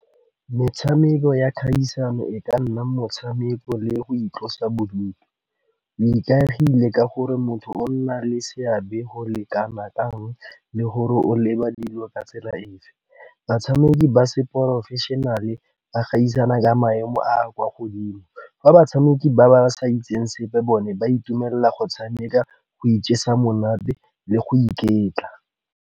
Metshameko ya kgaisano e ka nna motshameko le go itlosa bodutu. O ikaegile ka gore motho o nna le seabe go le kanakang, le gore o leba dilo ka tsela efe. Batshameki ba se professional ba gaisana ka maemo a kwa godimo, fa batshameki ba ba sa itseng sepe bone ba itumelela go tshameka, go ijesa monate le go iketla.